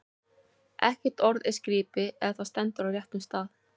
Ekkert orð er skrípi, ef það stendur á réttum stað.